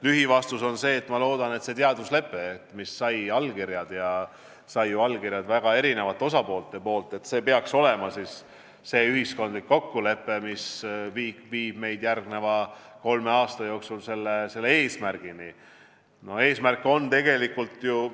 Lühivastus on see, et ma loodan, et see teaduslepe, mis sai allkirjad – see sai allkirjad ju väga erinevatelt osapooltelt –, peaks olema see ühiskondlik kokkulepe, mis viib meid järgneva kolme aasta jooksul sellele eesmärgile.